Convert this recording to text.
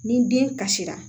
Ni den kasira